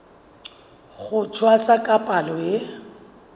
ho tshwasa ka palo e